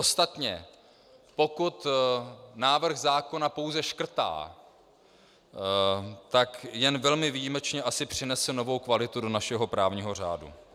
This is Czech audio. Ostatně, pokud návrh zákona pouze škrtá, tak jen velmi výjimečně asi přinese novou kvalitu do našeho právního řádu.